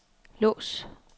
lås